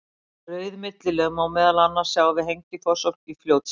Rauð millilög má meðal annars sjá við Hengifoss í Fljótsdal.